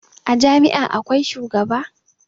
A Jami' a akwai shugaba